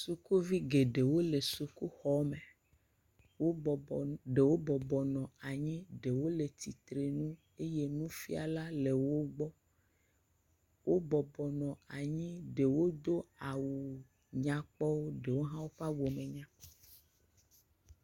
Sukuvi geɖewo le sukuxɔ me, ɖewo bɔbɔ nyi, ɖewo bɔbɔ nɔ anyi ɖewo le tsitre nu eye nufiala le wogbɔ, wo bɔbɔ nɔ anyi ɖewo do awu nyɔkpɔwo ɖewo hɔ ƒe awu menyakpɔ o.